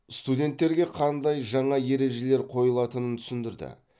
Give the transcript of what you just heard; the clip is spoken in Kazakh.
студенттерге қандай жаңа ережелер қойылатынын түсіндірді